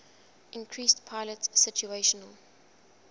increased pilot situational